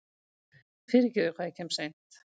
Fyrirgefiði hvað ég kem seint.